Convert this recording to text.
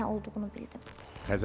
Nə olduğunu bildim.